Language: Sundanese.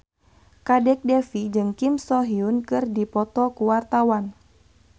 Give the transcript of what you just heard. Kadek Devi jeung Kim So Hyun keur dipoto ku wartawan